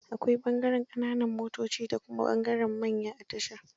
Akwai ɓangaren ƙananan motoci da kuma ɓangaren manya a tasha.